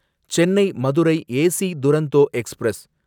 Chennai Madurai AC Duronto express